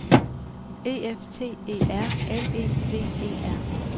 E F T E R L E V E R